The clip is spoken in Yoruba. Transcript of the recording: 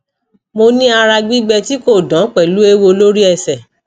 moni ara gbigbe ti ko dan pelu ewo lori ese